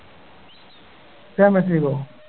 champions league oh